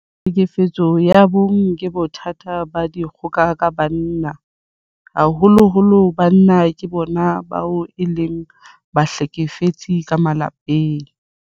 Tlhekefetso ya bong ke bothata ba dikgoka ka banna. Haholoholo banna ke bona bao e leng bahlekefetsi ka malapeng.